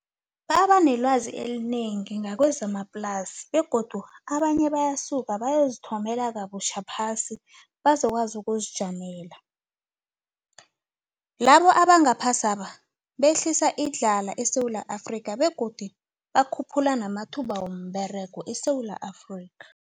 Baba nelwazi elinengi ngakwezamaplasi begodu abanye bayasuka bayozithomela kabutjha phasi bazokwazi ukuzijamela. Labo abangaphasiaba behlisa idlala eSewula Afrika begodu bakhuphula namathuba womberego eSewula Afrika.